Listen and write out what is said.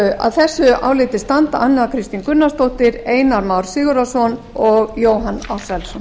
að þessu áliti standa anna kristín gunnarsdóttir einar már sigurðarson og jóhann ársælsson